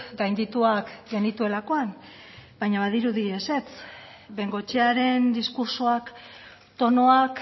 gaindituak genituelakoan baina badirudi ezetz bengoechearen diskurtsoak tonuak